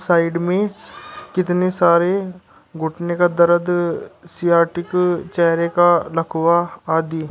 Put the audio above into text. Side में कितने सारे घुटने का दर्द सियाटिक चेहरे का लकवा आदि।